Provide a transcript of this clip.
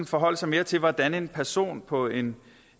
forholde sig mere til hvordan en person på en